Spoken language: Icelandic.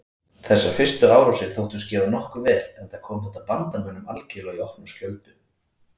Þessar fyrstu árásir þóttust gefast nokkuð vel enda kom þetta bandamönnum algerlega í opna skjöldu.